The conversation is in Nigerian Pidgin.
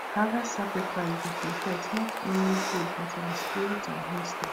harvest sacrifice dey protect not only foodbut our spirit and history